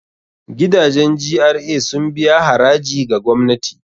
Gidajen GRA sun biya haraji ga gwamnati.